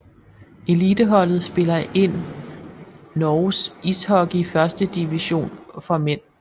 Eliteholdet spiller ind Norges ishockey førstedivision for mænd